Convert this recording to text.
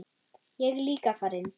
Ég er líka farinn!